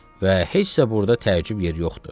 Və heç də burda təəccüb yeri yoxdur.